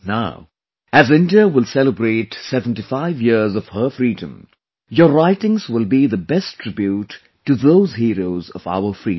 Now, as India will celebrate 75 years of her freedom, your writings will be the best tribute to those heroes of our freedom